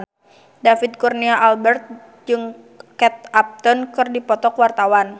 David Kurnia Albert jeung Kate Upton keur dipoto ku wartawan